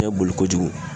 Bɛɛ boli ko jugu